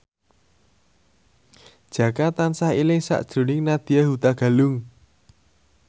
Jaka tansah eling sakjroning Nadya Hutagalung